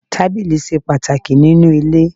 Tábìlì ṣe pàtàkì nínú ilé.